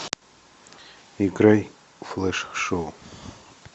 играй флэш шоу